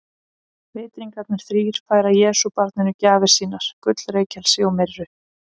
Vitringarnir þrír færa Jesúbarninu gjafir sínar, gull, reykelsi og myrru.